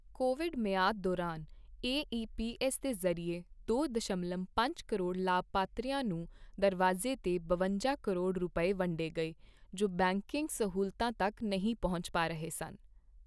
Covid ਮਿਆਦ ਦੌਰਾਨ AEPS ਦੇ ਜ਼ਰੀਏ ਦੋ ਦਸ਼ਮਲਵ ਪੰਜ ਕਰੋੜ ਲਾਭਪਾਤਰੀਆਂ ਨੂੰ ਦਰਵਾਜ਼ੇ ਤੇ ਬਵੰਜਾ ਕਰੋੜ ਰੁਪਏ, ਵੰਡੇ ਗਏ ਜੋ ਬੈਂਕਿੰਗ ਸਹੂਲਤਾਂ ਤੱਕ ਨਹੀਂ ਪਹੁੰਚ ਪਾ ਰਹੇ ਸਨ।